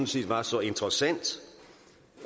set var så interessant